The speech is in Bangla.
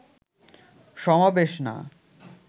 সমাবেশ না